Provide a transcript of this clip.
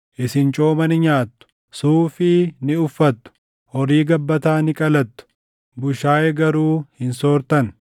Isin cooma ni nyaattu; suufii ni uffattu; horii gabbataa ni qalattu; bushaayee garuu hin soortan.